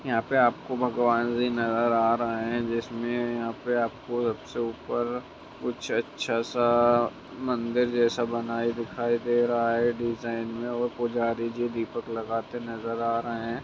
यहाँ पे आपको भगवान् जी नजर आ रहे हैं जिसमें यहाँ पे आपको सबसे ऊपर कुछ अच्छा सा मंदिर जैसा बनाय दिखाई दे रहा है डिजाइन में और पुजारी जी दीपक लगाते नजर आ रहे हैं ।